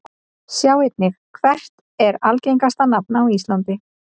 Sjá einnig: Hvert er algengasta nafn á íslandi?